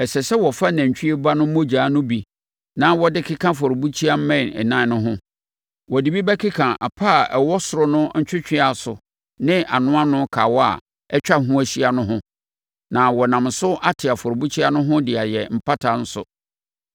Ɛsɛ sɛ wofa nantwie ba no mogya no bi na wode keka afɔrebukyia mmɛn ɛnan no ho. Wode bi bɛkeka apa a ɛwɔ soro no ntwɛtwɛaso ne anoano kawa a atwa ho ahyia no ho na wɔnam so ate afɔrebukyia no ho de ayɛ mpata nso.